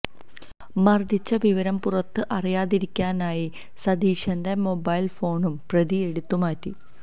മര്ദിച്ച വിവരം പുറത്ത് അറിയാതിരിക്കാനായി സതീശന്റെ മൊബൈല് ഫോണും പ്രതി എടുത്തുമാറ്റി